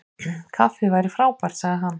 Kaffi væri frábært- sagði hann.